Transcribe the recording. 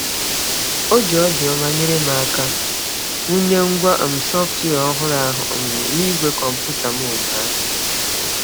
O ji obiọma nyere m aka wụnye ngwa um sọftwịa ọhụrụ ahụ um n'igwe kọmputa m ụnyaahụ.